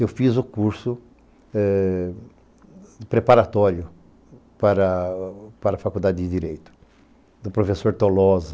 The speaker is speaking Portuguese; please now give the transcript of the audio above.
Eu fiz o curso preparatório para a Faculdade de Direito, do professor Tolosa.